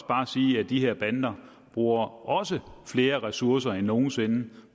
bare sige at de her bander bruger også flere ressourcer end nogen sinde